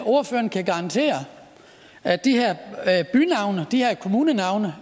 ordføreren kan garantere at de her bynavne de her kommunenavne